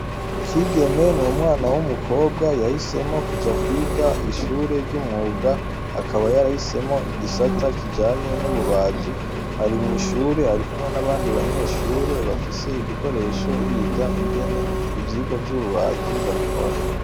Kigeme numwana wumukobwa yahisemwo kuja kwiga ishure ryumwuga akaba yarahisemwo igisata kijanye nububaji ari mwishure arikumwe nabandi banyeshure bafise ibikoresho biga ingene ivyigwa vyububaji babikora